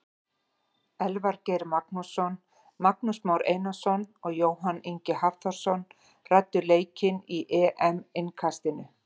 Elvar Geir Magnússon, Magnús Már Einarsson og Jóhann Ingi Hafþórsson ræddu leikinn í EM innkastinu.